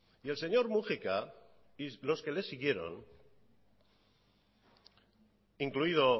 y el señor múgica y los que le siguieron incluido